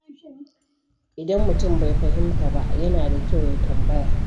Idan mutum bai fahimta ba, yana da kyau ya tambaya.